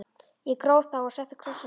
Ég gróf þá og setti kross á leiðið.